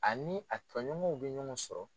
Ani a tɔɲɔgɔnw bɛ ɲɔgɔn sɔrɔ.